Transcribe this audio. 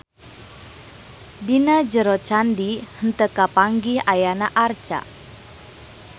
Dina jero candi henteu kapanggih ayana arca.